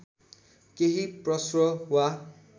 केही प्रश्न वा